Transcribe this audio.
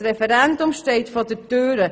Das Referendum steht vor der Tür.